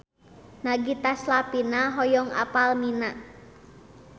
Nagita Slavina hoyong apal Mina